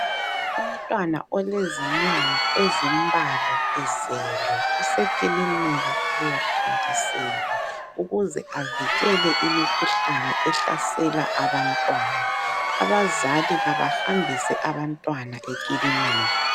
Umntwana olezinyanga ezimbalwa ezelwe usekilinika ukuyathontiselwa ukuze avikele imikhuhlane ehlasela abantwana. Abazali kabahambise abantwana ekilinika.